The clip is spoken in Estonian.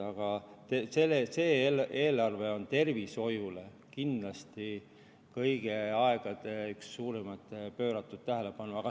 Aga see eelarve pöörab tervishoiule kindlasti kõigi aegade suurimat tähelepanu.